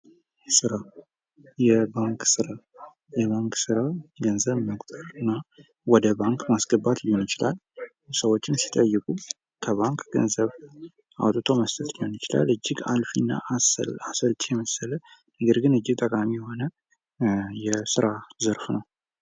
ስራ። የባንክ ስራ። የባንክ ስራ ገንዘብ መቁጠርና ወደ ባንክ ማስገባት ሊሆን ይችላል። ሰዎችም ሲጠይቁት ከባንክ ገንዘብ አውጥቶ መስጠት ሊሆን ይችላል። እጅግ አልፊ እና አሰልቺ የመሰለ ነገር ግን እጅግ ጠቃሚ የሆነ የስራ ዘርፍ ነው።